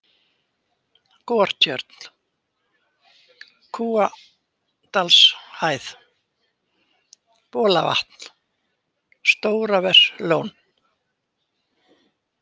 Gortjörn, Kúadalshæð, Bolavatn, Stóraverslón